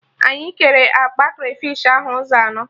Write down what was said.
Anyị kere akpa krafish ahụ ụzọ anọ